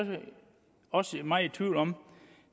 også meget i tvivl om